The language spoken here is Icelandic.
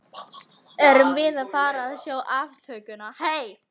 Erum við að fara að sjá aftökuna?